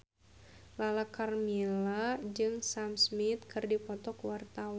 Lala Karmela jeung Sam Smith keur dipoto ku wartawan